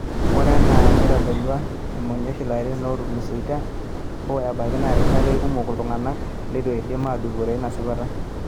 Ore enaa neitodolua imashoyii oolarin ootulusoitia, hoo, ore ebaiki ena rishata eikumok iltunganak leitu edim aatudupore ina sipata